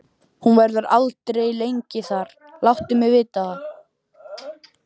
Hún verður aldrei lengi þar, láttu mig vita það.